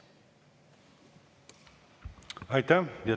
Aitäh!